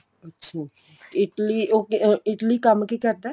ਅੱਛਾ Italy ਕੰਮ ਕੀ ਕਰਦਾ ਏ